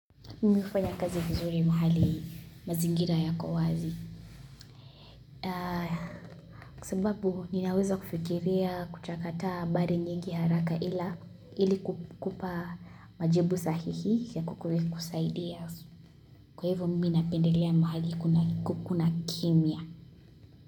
Mimi hufanya kazi vizuri mahali mazingira ya kowazi. Kwa sababu ninaweza kufikiria, kuchakataa habari nyingi haraka ili kukupa majibu sahihi ya kukusaidia. Kwa hivyo mimi napendelea mahali kuna kimya.